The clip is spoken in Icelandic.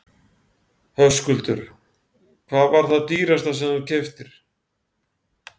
Höskuldur: Hvað var það dýrasta sem þú keyptir?